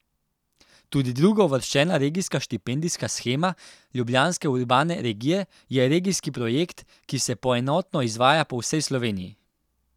Tudi drugouvrščena Regijska štipendijska shema Ljubljanske urbane regije je regijski projekt, ki se poenoteno izvaja po vsej Sloveniji.